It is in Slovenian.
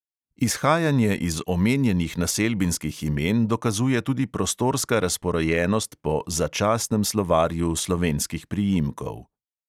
Izhajanje iz omenjenih naselbinskih imen dokazuje tudi prostorska razporejenost po začasnem slovarju slovenskih priimkov.